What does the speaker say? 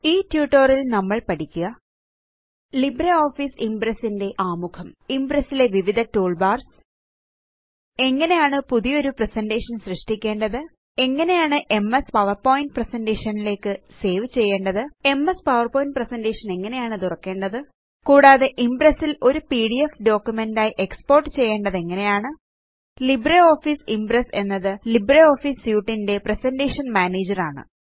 ഈ ട്യൂട്ടോറിയൽ നമ്മള് പഠിക്കുക ലിബ്രേ ഓഫീസ് ഇമ്പ്രെസ്സ് ന്റെ ആമുഖം ഇംപ്രസ് ലെ വിവിധ ടൂൾബാർസ് എങ്ങനെയാണ് പുതിയൊരു പ്രസന്റേഷൻ സൃഷ്ടിക്കേണ്ടത് എങ്ങനെയാണ് എംഎസ് പവർപോയിന്റ് പ്രസന്റേഷൻ ലേക്ക് സേവ് ചെയ്യേണ്ടത് എംഎസ് പവർപോയിന്റ് പ്രസന്റേഷൻ എങ്ങനെയാണ് തുറക്കേണ്ടത് കൂടാതെ ഇംപ്രസ് ല് ഒരു പിഡിഎഫ് ഡോക്യുമെന്റ് ആയി എക്സ്പോർട്ട് ചെയ്യേണ്ടത് എങ്ങനെയാണ് ലിബ്രിയോഫീസ് ഇംപ്രസ് എന്നത് ലിബ്രിയോഫീസ് സ്യൂട്ട് ന്റെ പ്രസന്റേഷൻ മാനേജർ ആണ്